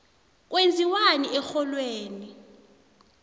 kwenziwani erholweni